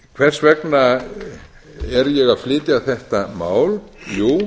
hvers vegna er ég að flytja þetta mál jú